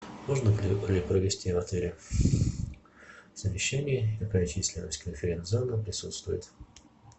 можно ли провести в отеле совещание какая численность конференц зала присутствует